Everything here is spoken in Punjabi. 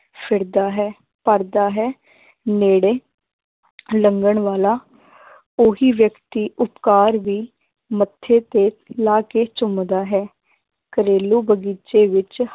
ਫਿਰਦਾ ਹੈ ਕਰਦਾ ਹੈ ਨੇੜੇ ਲੰਘਣ ਵਾਲਾ ਉਹੀ ਵਿਅਕਤੀ ਉਪਕਾਰ ਵੀ ਮੱਥੇ ਤੇ ਲਾ ਕੇ ਚੁੰਮਦਾ ਹੈ, ਘਰੇਲੂ ਬਗ਼ੀਚੇ ਵਿੱਚ